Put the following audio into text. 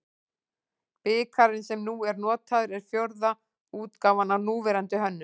Bikarinn sem nú er notaður er fjórða útgáfan af núverandi hönnun.